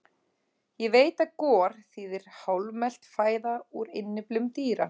Ég veit að gor þýðir hálfmelt fæða úr innyflum dýra.